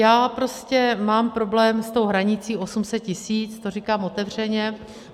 Já prostě mám problém s tou hranicí 800 tisíc, to říkám otevřeně.